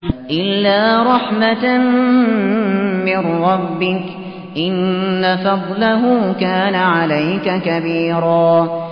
إِلَّا رَحْمَةً مِّن رَّبِّكَ ۚ إِنَّ فَضْلَهُ كَانَ عَلَيْكَ كَبِيرًا